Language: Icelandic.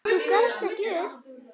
Þú gafst ekki upp.